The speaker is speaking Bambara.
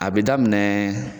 A bi daminɛ